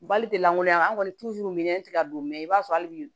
Bali tɛ lankolonya an kɔni minɛ ti ka don mɛ i b'a sɔrɔ hali bi